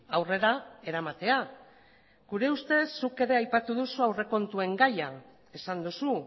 aurrera eramatea gure ustez zuk ere aipatu duzu aurrekontuen gaia esan duzu